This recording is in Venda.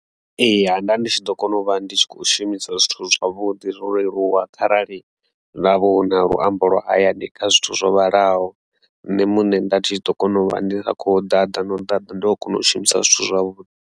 Ee, ha nda ndi tshi ḓo kona u vha ndi tshi kho shumisa zwithu zwavhuḓi zwo leluwa kharali navho hu na luambo lwa hayani kha zwithu zwo vhalaho, nṋe muṋe nda tshi ḓo kona u vha ndi sa khou ḓaḓa na u ḓaḓa ndi kho kona u shumisa zwithu zwavhuḓi.